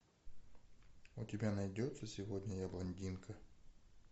у тебя найдется сегодня я блондинка